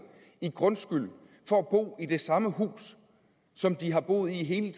i grundskyld for at bo i det samme hus som de har boet i hele